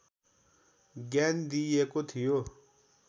ज्ञान दिइएको थियो